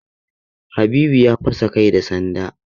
Habibu ya fasa kai da sanda.